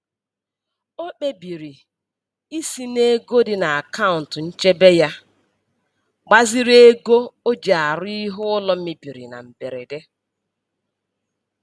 O kpebiri isi n'ego dị n'akaụntụ nchebe ya gbaziri ego o ji arụzi ihe ụlọ mebiri na mberede.